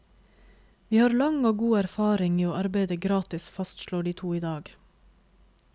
Vi har lang og god erfaring i å arbeide gratis, fastslår de to i dag.